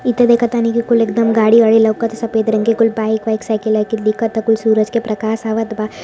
इ त देखतानी कि कुल एकदम गाड़ी वाड़ी लउकता सफेद रंग के कुल बाइक वाइक साइकिल आईकिल दिखता। कुल सूरज के प्रकाश आवत बा --